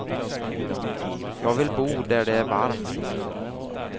Jag vill bo där det är varmt.